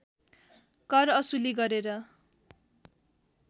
कर असुली गरेर